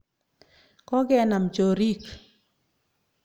Ko kenam choriik.